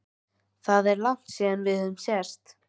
Það er langt síðan við höfum sést